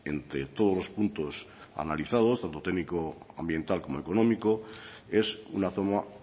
entre todos los puntos analizados donde el técnico ambiental como económico es una toma